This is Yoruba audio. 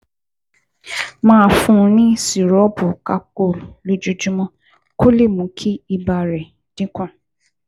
Máa fún un ní sìrọ́ọ̀pù Calpol lójoojúmọ́ kó lè mú kí ibà rẹ̀ dín kù